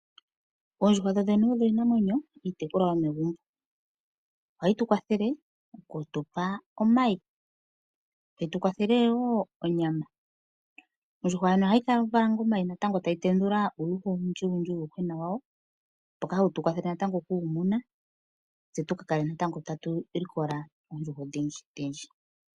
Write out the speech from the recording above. Oondjuhwa dhodhene odho iinamwenyo iitekulwa yomegumbo. Ohayi tu kwathele oku tu pa omayi , tayi tu kwathele wo onyama. Ondjuhwa yoyene ohayi vala omayi natango e ta yi tendula uuyuhwa owundjiwundji uuyuhwena wawo mboka hawu tu kwathele natango oku wu muna tse tu ka kale natango ta tu likola oondjuhwa odhindjidhindji.